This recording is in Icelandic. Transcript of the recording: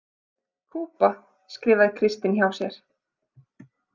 Kuba, skrifaði Kristín hjá sér.